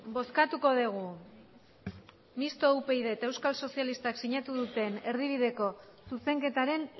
bozkatuko dugu mistoa upyd eta euskal sozialistak sinatu duten erdibideko zuzenketaren